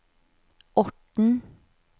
Orten